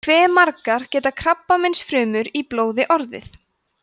hve margar geta krabbameinsfrumur í blóði orðið